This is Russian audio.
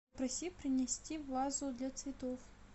попроси принести вазу для цветов